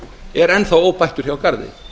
er enn þá óbættur hjá garði